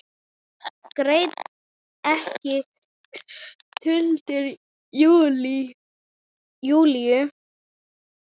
Greini ekki tuldur Júlíu.